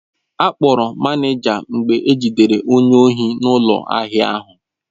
Akpọrọ manịja mgbe ejidere onye ohi n'ụlọ ahịa ahụ.